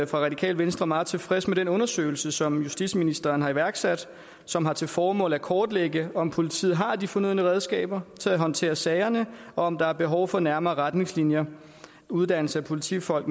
fra radikale venstre meget tilfredse med den undersøgelse som justitsministeren har iværksat som har til formål at kortlægge om politiet har de fornødne redskaber til at håndtere sagerne og om der er behov for nærmere retningslinjer uddannelse af politifolk